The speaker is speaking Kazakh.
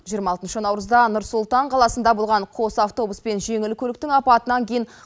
жиырма алтыншы наурызда нұр сұлтан қаласында болған қос автобус пен жеңіл көліктің апатынан кейін